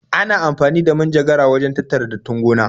Ana amfani da manjagara wajen tattara dattin gona.